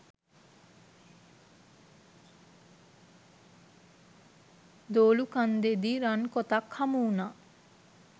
දොළුකන්දෙදි රන්කොතක් හමුවුණා.